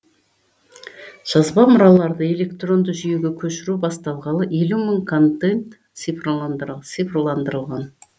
жазба мұраларды электронды жүйеге көшіру басталғалы елу мың контент цифрландырған